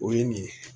O ye nin ye